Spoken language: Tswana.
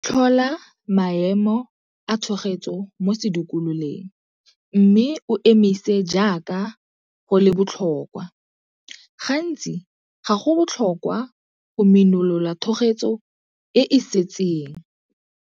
Tlhola maemo a thogetso mo sedikololeng mme e emise jaaka go le botlhokwa. Gantsi ga go botlhokwa go minolola thogetso e e setseng.